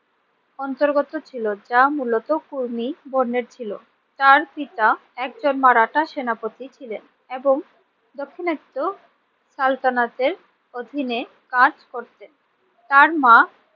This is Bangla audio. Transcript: অন্তর্গত ছিল যা মূলত কর্মী বর্ণের ছিল। তার পিতা একজন মারাঠা সেনাপতি ছিলেন এবং দাক্ষিণাত্য সালতানাতের অধীনে কাজ করতেন। তার মা